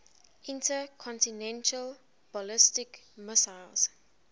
intercontinental ballistic missiles